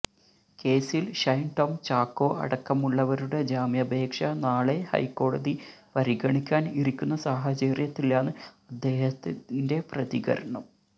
കേസിൽ ഷൈൻ ടോം ചാക്കോ അടക്കമുള്ളവരുടെ ജാമ്യാപേക്ഷ നാളെ ഹൈക്കോടതി പരിഗണിക്കാൻ ഇരിക്കുന്ന സാഹചര്യത്തിലാണ് അദ്ദേഹത്തിന്റെ പ്രതികരണം